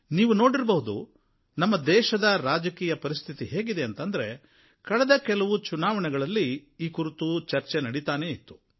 ನೀವು ನೋಡಿರಬಹುದು ನಮ್ಮ ದೇಶದ ರಾಜಕೀಯ ಪರಿಸ್ಥಿತಿ ಹೇಗಿದೆ ಅಂದ್ರೆ ಕಳೆದ ಕೆಲವು ಚುನಾವಣೆಗಳಲ್ಲಿ ಈ ಕುರಿತು ಚರ್ಚೆ ನಡೀತಾನೇ ಇತ್ತು